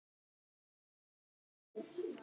Ætlar þú.